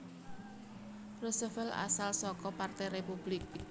Roosevelt asal saka Partai Republik